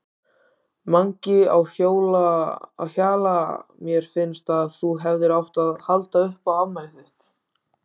Mangi á Hjalla Mér finnst að þú hefðir átt að halda upp á afmælið þitt.